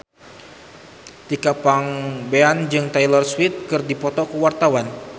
Tika Pangabean jeung Taylor Swift keur dipoto ku wartawan